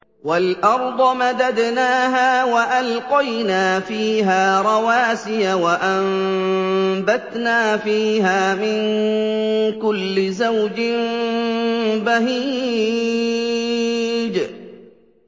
وَالْأَرْضَ مَدَدْنَاهَا وَأَلْقَيْنَا فِيهَا رَوَاسِيَ وَأَنبَتْنَا فِيهَا مِن كُلِّ زَوْجٍ بَهِيجٍ